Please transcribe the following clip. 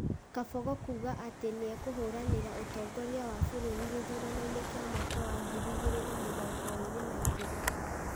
Kabogo kuuga atĩ nĩ ekũhũranĩra ũtongoria wa bũrũri gĩthurano-inĩ kĩa mwaka wa ngiri igĩrĩ na mĩrongo ĩrĩ na igĩrĩ.